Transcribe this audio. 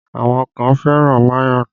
Àwọn kan fẹ́ràn mayonẹ